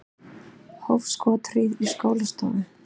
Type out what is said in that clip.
Hóf skothríð í skólastofu